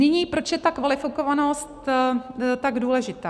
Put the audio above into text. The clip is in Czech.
Nyní, proč je ta kvalifikovanost tak důležitá.